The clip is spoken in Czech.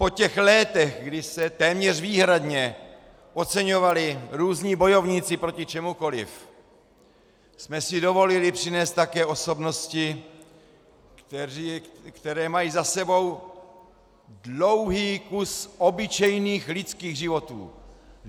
Po těch letech, kdy se téměř výhradně oceňovali různí bojovníci proti čemukoliv, jsme si dovolili přinést také osobnosti, které mají za sebou dlouhý kus obyčejných lidských životů.